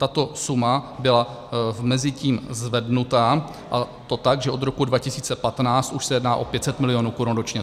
Tato suma byla mezitím zvednuta, a to tak, že od roku 2015 už se jedná o 500 milionů korun ročně.